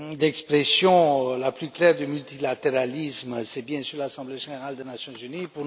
L'expression la plus claire du multilatéralisme, c'est bien sûr l'Assemblée générale des Nations unies.